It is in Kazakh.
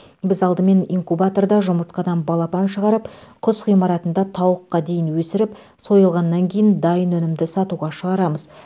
біз алдымен инкубаторда жұмыртқадан балапан шығарып құс ғимаратында тауыққа дейін өсіріп сойылғаннан кейін дайын өнімді сатуға шығарамыз